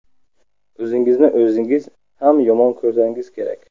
O‘zingizni o‘zingiz ham yomon ko‘rsangiz kerak.